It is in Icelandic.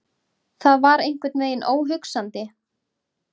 Það var einhvern veginn óhugsandi.